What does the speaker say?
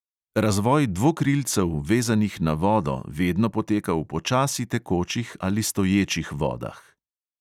Razvoj dvokrilcev, vezanih na vodo, vedno poteka v počasi tekočih ali stoječih vodah.